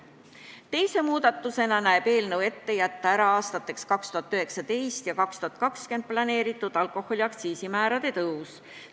Teise muudatusena näeb eelnõu ette jätta ära aastateks 2019 ja 2020 planeeritud alkoholi aktsiisimäärade tõus.